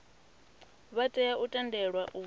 vha tea u tendelwa u